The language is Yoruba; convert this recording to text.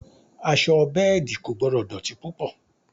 Aṣọ bẹ́ẹ̀dì kò gbọ́dọ̀ dọ̀tí púpọ̀